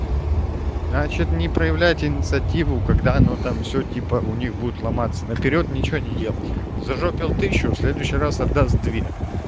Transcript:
значит не проявлять инициативу когда но там всё типа у них будет ломаться наперёд ничего не делал зажёпит тысячу в следующий раз отдаст две